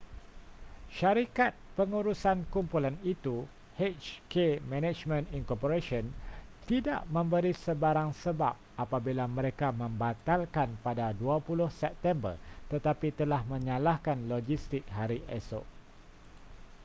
syarikat pengurusan kumpulan itu hk management inc tidak memberi sebarang sebab apabila mereka membatalkan pada 20 september tetapi telah menyalahkan logistik hari esok